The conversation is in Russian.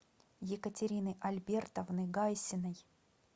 екатерины альбертовны гайсиной